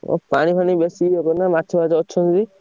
ଓ ପାଣି ଫାଣି ବେଶୀ ହେବେ ନା ମାଛ ଫାଛ ଅଛନ୍ତି।